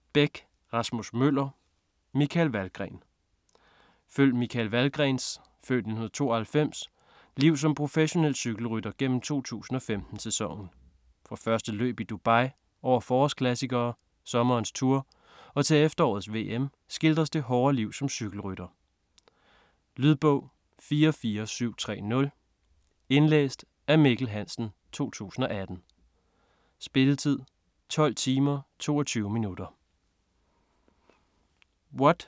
Bech, Rasmus Møller: Michael Valgren Følg Michael Valgrens (f. 1992) liv som professionel cykelrytter gennem 2015-sæsonen. Fra første løb i Dubai, over forårsklassikere, sommerens Tour og til efterårets VM, skildres det hårde liv som cykelrytter. Lydbog 44730 Indlæst af Mikkel Hansen, 2018. Spilletid: 12 timer, 22 minutter.